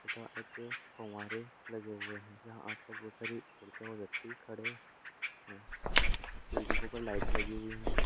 तथा एक फव्वारे लगे हुए हैं जहाँ आसपास बहुत सारी औरतें और व्यक्ति खड़े हैं बिल्डिंगों पर लाइट लगी हुई है।